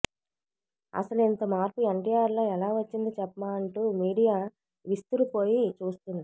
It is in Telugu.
అసలు ఇంత మార్పు ఎన్టీఆర్ లో ఎలా వచ్చింది చెప్మా అంటూ మీడియా విస్తురుపోయి చూస్తుంది